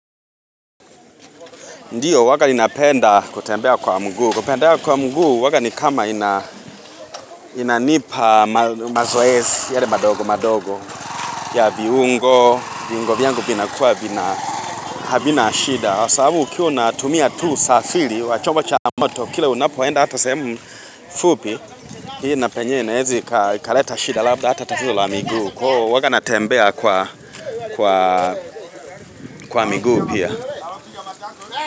Ndiyo huwaga ninapenda kutembea kwa mguu. Kutembea kwa mguu huwaga ni kama inanipa mazoezi yale madogo madogo. Ya viungo, viungo vyangu vinakua havina shida. Kwa sabu ukiwa unatumia tu usafiri, wa chombo cha moto, kila unapoenda hata sehemu fupi, hii inapenye inaeza ikaleta shida labda hata tatizo la miguu. Kwaio huwaga natembea kwa miguu pia.